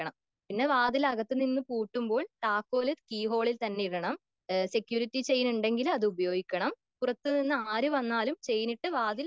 പിന്നെ വാതിൽ അകത്ത് നിന്ന് പൂട്ടുമ്പോൾ താക്കോൽ കീഹോളിൽ തന്നെ ഇടണം.സ്‌ക്യൂരിറ്റി ചെയിൻ ഉണ്ടെങ്കിൽ അത് ഉപയോഗിക്കണം.പുറത്ത് നിന്ന് ആര് വന്നാലും ചെയിൻ ഇട്ട് വാതിൽ